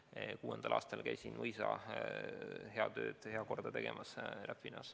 Jah, 2006. aastal käisin Räpinas mõisas heakorratöid tegemas.